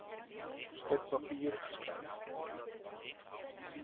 stuk papier geskryf